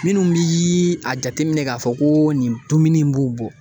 Minnu bi a jateminɛ k'a fɔ ko nin dumuni b'u bɔ